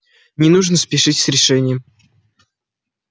не нужно спешить с решением